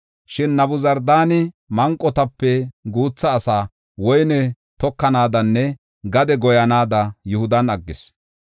Shin Nabuzardaani manqotape guutha asaa woyne tokanaadanne gade goyanaada Yihudan aggis.